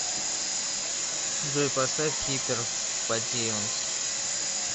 джой поставь хипер потионс